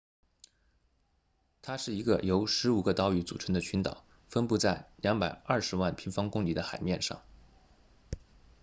它是一个由15个岛屿组成的群岛分布在220万平方公里的海面上